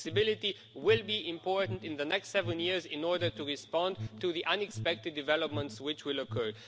Flexibility will be important in the next seven years in order to respond to the unexpected developments which will occur.